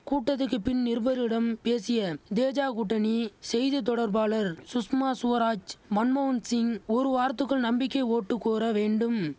கூட்டத்துக்கு பின் நிருபர்களிடம் பேசிய தேஜ கூட்டணி செய்தி தொடர்பாளர் சுஷ்மா சுவராஜ் மன்மோகன் சிங் ஒரு வாரத்துக்குள் நம்பிக்கை ஓட்டு கோர வேண்டும்